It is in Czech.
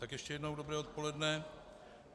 Tak ještě jednou dobré odpoledne.